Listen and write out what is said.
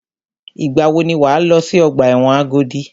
Ìgbà wò ni wà á lọ sí ọgbà ẹ̀wọ̀n Agodi?